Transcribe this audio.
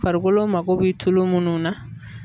Farikolo mako bɛ tulo munnu na.